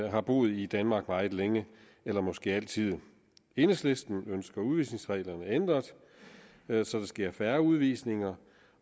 har boet i danmark meget længe eller måske altid enhedslisten ønsker udvisningsreglerne ændret så der sker færre udvisninger